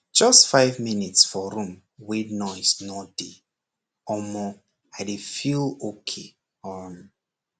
just five minute for room wey noise no dey omor i dey really feel okay um